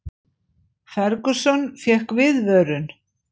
Ferguson fékk viðvörun